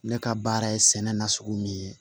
Ne ka baara ye sɛnɛ nasugu min ye